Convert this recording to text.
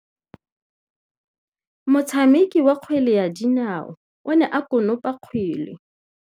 Motshameki wa kgwele ya dinaô o ne a konopa kgwele.